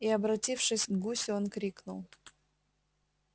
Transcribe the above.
и обратившись к гусю он крикнул